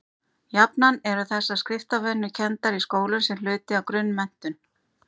jafnan eru þessar skriftarvenjur kenndar í skólum sem hluti af grunnmenntun